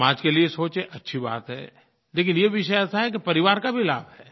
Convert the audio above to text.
समाज के लिये सोचें अच्छी बात है लेकिन ये विषय ऐसा है कि परिवार का भी लाभ है